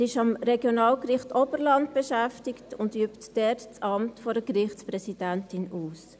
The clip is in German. Sie ist am Regionalgericht Oberland beschäftigt und führt dort das Amt einer Gerichtspräsidentin aus.